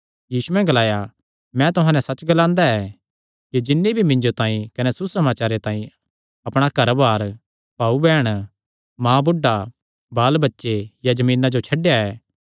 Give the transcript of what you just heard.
यीशुयैं ग्लाया मैं तुहां नैं सच्च ग्लांदा ऐ कि जिन्नी भी मिन्जो तांई कने सुसमाचारे तांई अपणा घरबार भाऊबैहण माँबुढ़ा बालबच्चे या जमीना जो छड्डेया ऐ